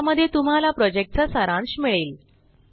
ज्यामध्ये तुम्हाला प्रॉजेक्टचा सारांश मिळेल